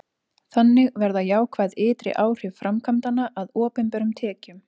þannig verða jákvæð ytri áhrif framkvæmdanna að opinberum tekjum